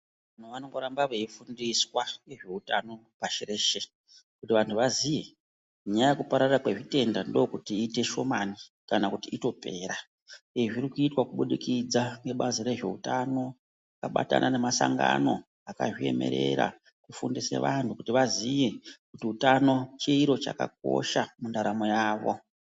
Vantu vanongoramba veifundiswa ngezveutano pashi reshe kuti vantu vaziye nyaya yekupararira kwezvitenda ndokuit iite shomani kana kuti itopera izvi zvirikuitwa kubudikidza ngebazi rezveutano rabatana nemasangano akazviemerera kufundise vantu kuti vaziye kuti utano chiro chakakosha mundaramo yavo.